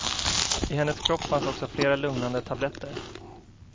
I hennes kropp fanns också flera lugnande tabletter.